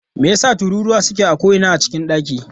Me yasa tururuwa suke a ko'ina a cikin dakin?